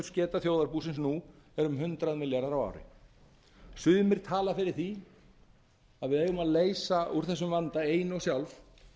skuldir afrakstursgeta þjóðarbúsins nú er um hundrað milljarðar á ári sumir tala fyrir því að við eigum að leysa úr þessum vanda ein og sjálf